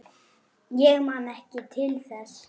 Ég man ekki til þess.